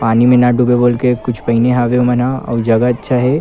पानी में न डूबे बोल के कुछ पहिने हवे ओ मन ह अउ जगह अच्छा हे।